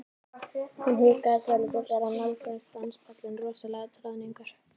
Hann hikaði svolítið þegar hann nálgaðist danspallinn rosalegur troðningur.